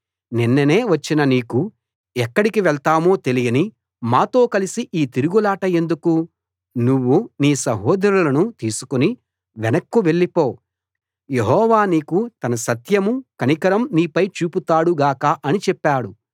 నిన్ననే వచ్చిన నీకు ఎక్కడి వెళ్తామో తెలియని మాతో కలసి ఈ తిరుగులాట ఎందుకు నువ్వు నీ సహోదరులను తీసుకుని వెనక్కు వెళ్ళిపో యెహోవా నీకు తన సత్యం కనికరం నీపై చూపుతాడు గాక అని చెప్పాడు